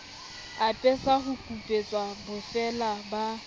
apesa ho kupetswe bofeela ba